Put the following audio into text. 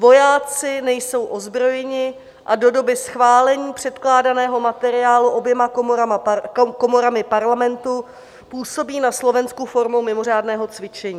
Vojáci nejsou ozbrojeni a do doby schválení předkládaného materiálu oběma komorami parlamentu působí na Slovensku formou mimořádného cvičení.